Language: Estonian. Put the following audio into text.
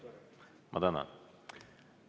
Ma tänan!